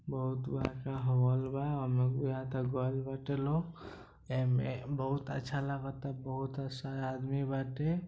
बहुत बड़का हॉल बा गइल बाटे लोग एमे बहुत अच्छा लागता बहुत अच्छा आदमी बाटे ।